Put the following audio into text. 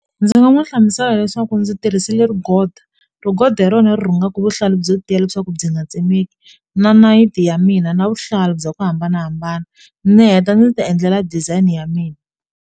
Ndzi nga n'wi hlamusela leswaku ndzi tirhisile rigod, rigod hi rona ri rhungaka vuhlalu byo tiya leswaku byi nga tsemeki na nayiti ya mina na vuhlalu bya ku hambanahambana ndzi heta ndzi ti endlela design ya mina.